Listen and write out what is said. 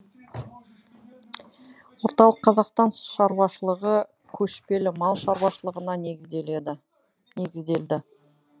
орталық қазақстан шаруашылығы көшпелі мал шаруашылығына негізделді